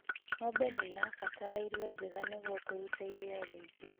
Ng'ombe nĩirabatara irio njega nĩguo kũruta iria rĩingi